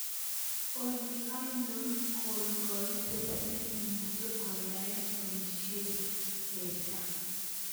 Olly ainon koitet ne imuche koyaen boisyet mejja